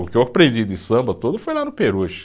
O que eu aprendi de samba todo foi lá no peruche.